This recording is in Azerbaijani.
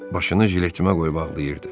Başını jiletimə qoyub ağlayırdı.